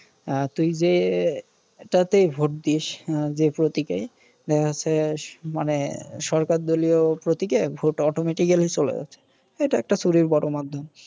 তুই যেটাতেই ভোট দিস যে প্রতীকে দেখা যাচ্ছে মানে সরকার দলীয় প্রতীকে ভোট automatically চলে যাচ্ছে। এটা একটা চুরির বড় মাধ্যম।